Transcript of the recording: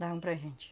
Davam para a gente.